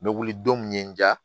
N bɛ wuli don min ye n ja